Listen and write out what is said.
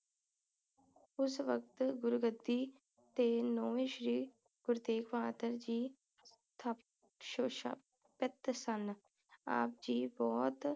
ਉਸ ਵਕਤ ਗੁਰੂਗੱਦੀ ਤੇ ਨੌਵੇਂ ਸ਼੍ਰੀ ਗੁਰੂ ਤੇਗ਼ ਬਹਾਦਰ ਜੀ ਥ ਸ਼ਸ਼ਾ ਪਿਤ ਸਨ ਆਪ ਜੀ ਬੋਹੋਤ